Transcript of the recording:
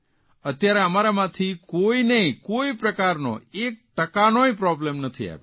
અત્યારે અમારામાંથી કોઇનેય કોઇ પ્રકારનો એક ટકાનોય પ્રોબ્લેમ નથી આવ્યો